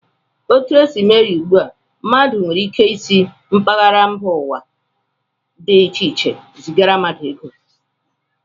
Etu e si mee ya ugbu a, mmadụ nwere ike isi mpaghara mba ụwa dị iche iche zigara mmadụ ego